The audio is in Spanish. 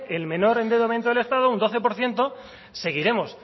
el menor de endeudamiento del estado un doce por ciento seguiremos